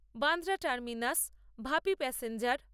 Bandra terminus Vapi প্যাসেঞ্জের